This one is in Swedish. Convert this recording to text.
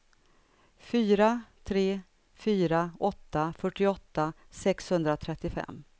fyra tre fyra åtta fyrtioåtta sexhundratrettiofem